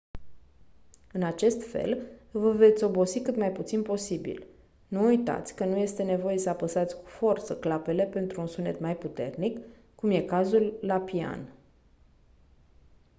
în acest fel vă veți obosi cât mai puțin posibil nu uitați că nu este nevoie să apăsați cu forță clapele pentru un sunet mai puternic cum e cazul la pian